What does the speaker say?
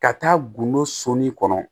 Ka taa gundo soni kɔnɔ